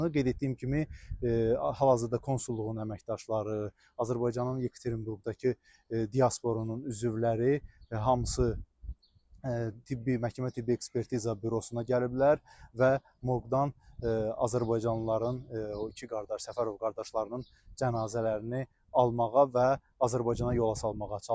Qeyd etdiyim kimi, hal-hazırda konsulluğun əməkdaşları, Azərbaycanın Yekaterinburqdakı diasporunun üzvləri hamısı tibbi, məhkəmə tibbi ekspertiza bürosuna gəliblər və morqdan azərbaycanlıların, o iki qardaş Səfərov qardaşlarının cənazələrini almağa və Azərbaycana yola salmağa çalışırlar.